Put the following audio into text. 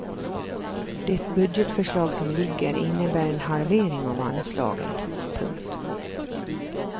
Det budgetförslag som ligger innebär en halvering av anslagen. punkt